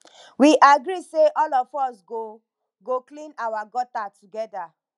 we agree say all of us go go clean our gutter together